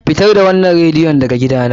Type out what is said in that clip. Fitar da wannan radiyon daga gidana!